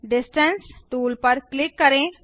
distance tool पर click करें